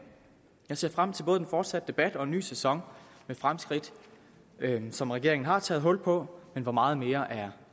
jeg ser frem til både den fortsatte debat og en ny sæson med fremskridt som regeringen har taget hul på men hvor meget mere er